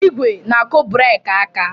ígwè na-akụ breeki aka.